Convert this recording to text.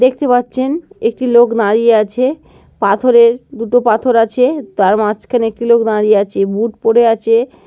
দেখতে পাচ্ছেন একটি লোক দাঁড়িয়ে আছে পাথরের দুটো পাথর আছে তার মাঝখানে একটি লোক দাঁড়িয়ে আছে বুট পড়ে আছে।